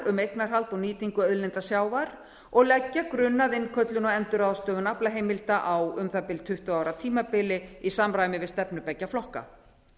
um eignarhald og nýtingu auðlinda sjávar og leggja grunn að innköllun og endurráðstöfun aflaheimilda á um það bil tuttugu ára tímabili í samræmi við stefnu beggja flokka